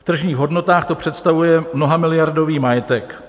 V tržních hodnotách to představuje mnohamiliardový majetek.